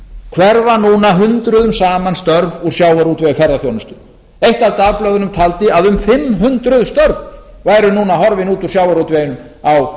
hverfa núna hundruðum saman störf úr sjávarútvegi og ferðaþjónustu eitt af dagblöðunum taldi að um fimm hundruð störf væru núna horfin út úr sjávarútveginum á